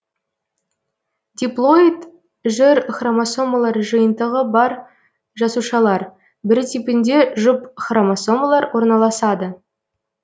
диплоид жүр хромосомалар жиынтығы бар жасушалар бір типінде жұп хромосомалар орналасады